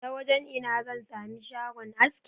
Ta wajan ina zan sami shagon aski?